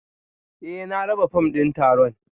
Eh na raba fom din taron